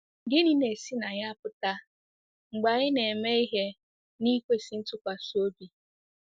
Gịnị na-esi na ya apụta mgbe anyị ‘ na-eme ihe n’ikwesị ntụkwasị obi ’?